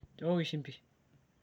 nchooki shimbi